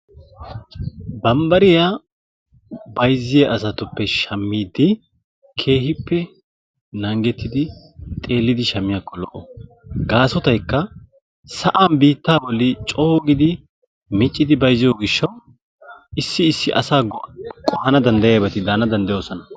Bambbariya bayzziya asatuppe shammiiddi keehippe naagettidi xeellidi shammiyakko lo"o gaasotaykka sa"an biittaa bollan coo giidi miccidi bayzziyo gishshawu issi issi asaa go"a qohana danddayiyabati de"ana danddayoosona.